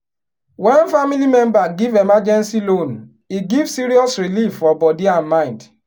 when family member give emergency loan e give serious relief for body and mind.